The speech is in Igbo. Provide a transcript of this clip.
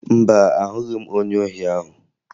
Mba, ahụghị m onye ohi ahụ